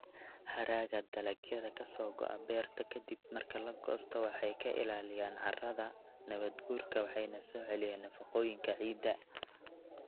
Hadhaaga dalagyada ka soo go'a beerta ka dib marka la goosto waxay ka ilaalinayaan carrada carrada nabaadguurka waxayna soo celiyaan nafaqooyinka ciidda.